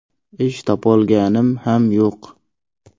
Ish topolganim ham yo‘q.